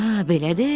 Hə, belədir.